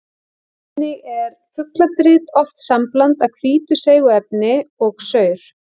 Þannig er fugladrit oft sambland af hvítu seigu efni og saur.